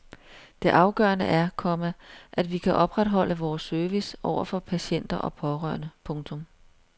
Det afgørende er, komma at vi kan opretholde vores service over for patienter og pårørende. punktum